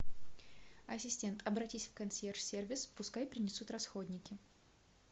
ассистент обратись в консьерж сервис пускай принесут расходники